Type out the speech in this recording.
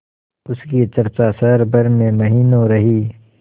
उसकी चर्चा शहर भर में महीनों रही